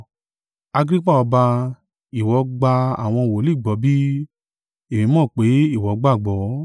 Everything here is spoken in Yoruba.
Agrippa ọba, ìwọ gba àwọn wòlíì gbọ́ bí? Èmi mọ̀ pé ìwọ gbàgbọ́.”